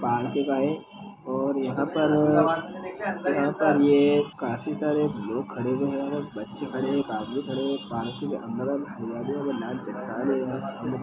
Park और यहाँ पर यहाँ पर ये काफी सारे लोग खड़े हुए हैं और बच्चे खड़े हैं एक आदमी खड़े है। पार्किंग के अंदर हरियाली है एवं लाल चट्टान है यहाँ। --